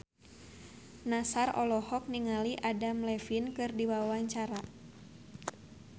Nassar olohok ningali Adam Levine keur diwawancara